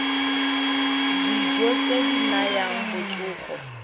dijo tse di nayang botsogo